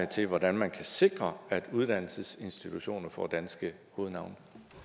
til hvordan man kan sikre at uddannelsesinstitutioner får danske hovednavne